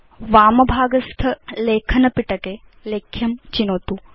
वाम भागस्थ लेखन पिटके लेख्यं चिनोतु